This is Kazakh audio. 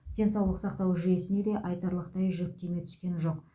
денсаулық сақтау жүйесіне де айтарлықтай жүктеме түскен жоқ